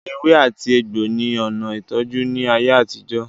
Ewe ati egbo ni ona itoju ni aye atijo.